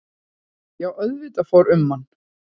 Já auðvitað fór um mann.